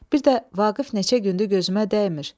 Bir də Vaqif neçə gündür gözümə dəymir.